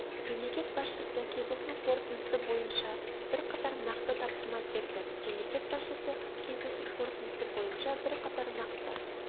мемлекет басшысы кездесу қорытындысы бойынша бірқатар нақты тапсырма берді мемлекет басшысы кездесу қорытындысы бойынша бірқатар нақты